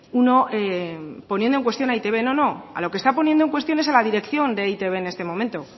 uno poniendo en cuestión a e i te be no no a lo que está poniendo en cuestión es a la dirección de e i te be en este momento